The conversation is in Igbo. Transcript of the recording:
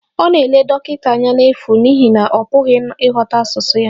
Ọ na-ele dọkịta anya n'efu n'ihi na ọ pụghị ịghọta asụsụ ya